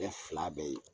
Bɛɛ fila bɛɛ ye